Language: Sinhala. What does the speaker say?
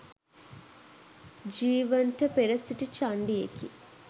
ජීවන්ට පෙර සිටි චණ්ඩියෙකි